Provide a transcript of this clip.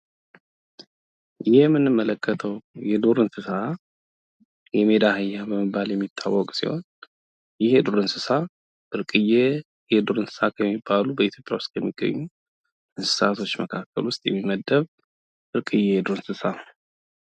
የምንመለከተው የዱር እንስሳ የሜዳ አህያ በመባል የሚታወቅ ሲሆን ይህ የዱር እንስሳ ብርቅየ የዱር እንስሳ ከሚባሉ በኢትዮጵያ ውስጥ ከሚገኙ እንስሳቶች መካከል ውስጥ የሚመደብ ብርቅየ የዱር እንስሳ ነው።